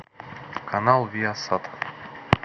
канал виасат